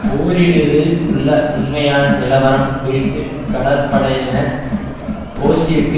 போரிடுவதில் உள்ள உண்மையான நிலவரம் குறித்து கடற்படையினர் போஸ்டிற்கு